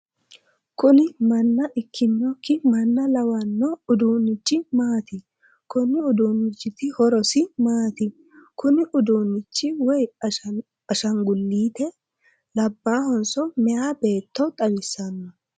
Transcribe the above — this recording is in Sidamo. kuni manna ikkinokki manna lawanno uduunnichi maati? konni uduunnichiti horosi maati? kuni uduunnichi woyi ashaangulliite? labbahanso meyaa beetto xawissanno ?